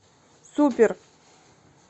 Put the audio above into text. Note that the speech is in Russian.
супер